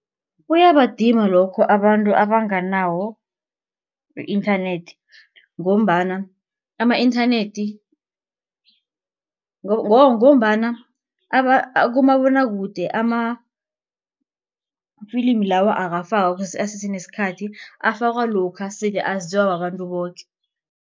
Kuyabadima lokho abantu abanganawo i-internet ngombana ama-internet ngombana kumabonwakude ama-filimi lawo akafakwa kusesenesikhathi afakwa lokha sele aziwa babantu boke.